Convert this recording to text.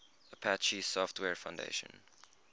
apache software foundation